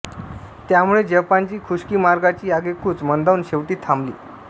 त्यामुळे जपानची खुश्की मार्गाची आगेकूच मंदावून शेवटी थांबली